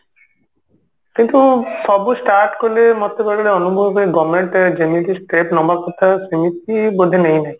କିନ୍ତୁ ସବୁ start କଲେ ମୋତେ ବେଳେ ବେଳେ ଅନୁଭବ ହୁଏ government ଯେମିତି step ନବା କଥା ସେମିତି ବୋଧେ ନେଇ ନାହିଁ